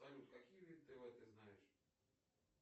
салют какие виды тв ты знаешь